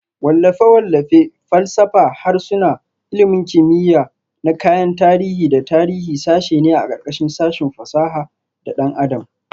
Wallafe-wallafe, falsafa, harsuna, ilmin kimiya na kayan tarihi da tarihi sashe ne a ƙarƙashin sashin fasaha da ɗan adam